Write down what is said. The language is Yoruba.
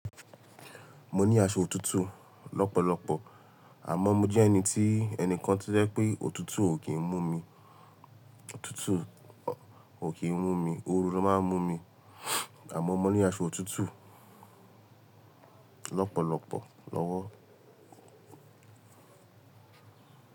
Mo ní aṣọ òtútù lọ́pọ̀lọpọ̀ àmọ́ mo jẹ́ ẹni tí ẹnìkan ti o je wipé òtútù ò kì í mú mi, òtútù kò kì í mú mi, oru ló máa ń mú mi àmọ́ mo ní aṣọ òtútù lọ́pọ̀lọpọ̀ lọ́wọ́.